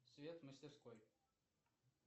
свет в мастерской